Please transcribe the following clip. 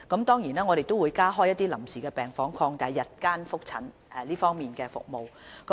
當然，當局亦會加開一些臨時病房，擴大日間覆診服務。